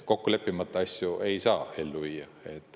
Kokku leppimata asju ei saa ellu viia.